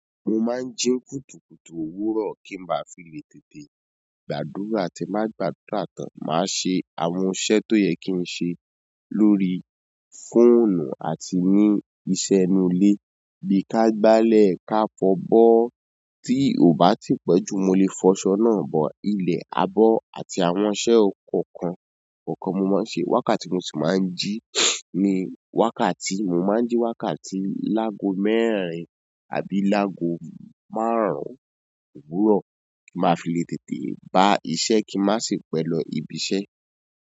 Mo máa ń jí n kùtùkùtù òwúrọ̀ kí n má fi le tètè gbàdúrà tí n ba gbadùrà tán. Máa ṣe àwọn iṣẹ́ tó yẹ kí n ṣe lórí fóònù àti ní iṣẹ́ inú ilé bí i ká gbálẹ̀, ká fọbọ́. Tí ò bá tí pẹ́ jù mo lè fọṣọ náà bọ. Ilẹ̀, abọ́ àti àwọn iṣẹ́ kọ̀ọ̀kan kọ̀ọ̀kan mo máa ń ṣe. Wákàtí mo si maa n ji ni wákàtí, mo maa n ji wákàtí laago mẹ́rin àbí laago márùn òwúrọ̀. Mafi le tètè ba iṣẹ́ ki n ma si pẹ lọ ibi iṣẹ́.